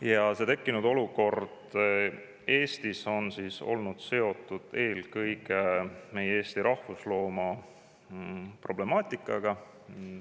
Ja see tekkinud olukord on olnud seotud eelkõige Eesti rahvuslooma problemaatikaga.